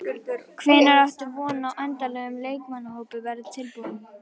Hvenær áttu von á að endanlegur leikmannahópur verði tilbúinn?